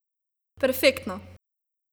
Perfektno!